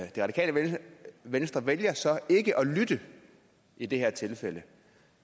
det radikale venstre vælger så ikke at lytte i det her tilfælde